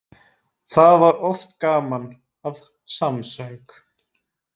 Það var oft gaman að þeim samsöng.